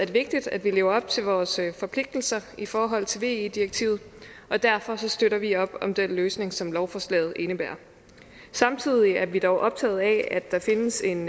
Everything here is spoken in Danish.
vigtigt at vi lever op til vores forpligtelser i forhold til ve direktivet og derfor støtter vi op om den løsning som lovforslaget indebærer samtidig er vi dog optaget af der findes en